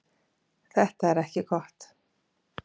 Þetta er ekki gott.